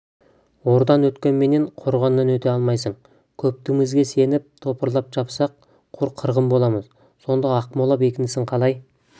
ордан өткенменен қорғаннан өте алмайсың көптігімізге сеніп топырлап шапсақ құр қырғын боламыз сонда ақмола бекінісін қалай